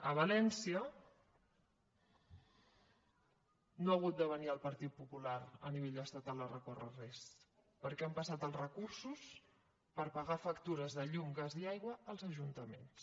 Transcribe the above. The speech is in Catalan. a valència no ha hagut de venir el partit popular a nivell estatal a recórrer contra res perquè han passat els recursos per pagar factures de llum gas i aigua als ajuntaments